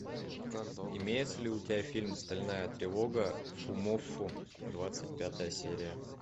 имеется ли у тебя фильм стальная тревога фумоффу двадцать пятая серия